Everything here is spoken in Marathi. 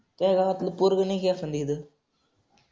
तुया गावतल पोरग नाही का एखादं इथं.